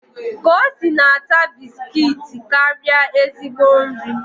Kosi na-ata bisikiiti karịa ezigbo nri